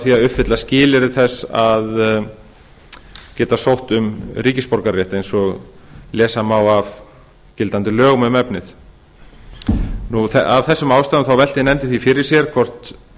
því að uppfylla skilyrði þess að geta sótt um ríkisborgararétt eins og lesa má af gildandi lögum um efnið af þessum ástæðum velti nefndin því fyrir sér hvort